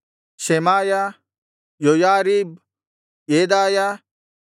Shemaiah Joiarib ಯೆದಾಯ